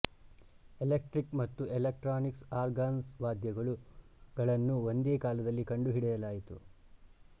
electric ಮತ್ತು electronic ಆರ್ಗನ್ಸ್ವಾದ್ಯಗಳು ಗಳನ್ನು ಒಂದೇ ಕಾಲದಲ್ಲಿ ಕಂಡುಹಿಡಿಯಲಾಯಿತು